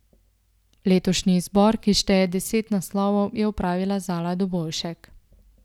Letošnji izbor, ki šteje deset naslovov, je opravila Zala Dobovšek.